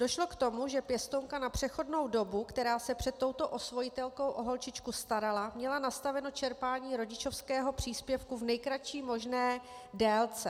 Došlo k tomu, že pěstounka na přechodnou dobu, která se před touto osvojitelkou o holčičku starala, měla nastaveno čerpání rodičovského příspěvku v nejkratší možné délce.